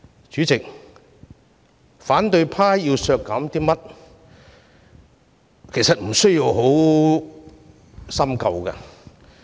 主席，反對派要削減的撥款，其實無需深究。